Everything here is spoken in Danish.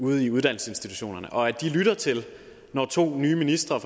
ude i uddannelsesinstitutionerne og at de lytter til når to nye ministre